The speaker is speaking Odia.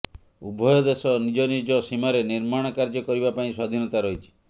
ଉଭୟ ଦେଶ ନିଜ ନିଜ ସୀମାରେ ନିର୍ମାଣ କାର୍ଯ୍ୟ କରିବା ପାଇଁ ସ୍ୱାଧୀନତା ରହିଛି